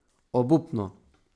Obupno.